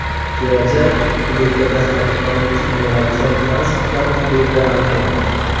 Kelajak elektrda harakatlanuvchi innovatsion transportlarniki”, deydi Antonov.